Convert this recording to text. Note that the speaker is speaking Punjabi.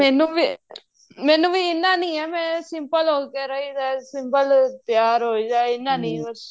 ਅਹ ਮੈਨੂੰ ਵੀ ਮੈਨੂੰ ਵੀ ਇੰਨਾ ਨਹੀਂ ਏ ਮੈਂ simple ਹੋ ਵਗੈਰਾ ਹੀ simple ਹੀ ਤਿਆਰ ਹੋ ਜਾਈਦਾ ਇੰਨਾ ਨਹੀਂ ਬੱਸ